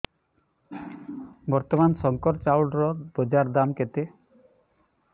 ବର୍ତ୍ତମାନ ଶଙ୍କର ଚାଉଳର ବଜାର ଦାମ୍ କେତେ